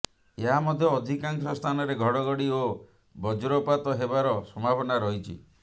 ଏହାସହ ଅଧିକାଂଶ ସ୍ଥାନରେ ଘଡ଼ଘଡ଼ି ଓ ବଜ୍ରପାତ ହେବାର ସମ୍ଭାବନା ରହିଛି